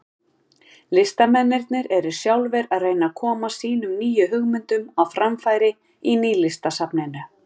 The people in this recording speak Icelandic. Listamennirnir eru sjálfir að reyna að koma sínum nýju hugmyndum á framfæri í Nýlistasafninu.